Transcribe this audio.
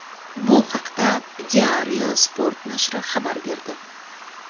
Bu haqda Diario Sport nashri xabar berdi .